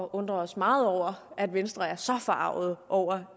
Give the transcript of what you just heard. undrer os meget over at venstre er så forargede over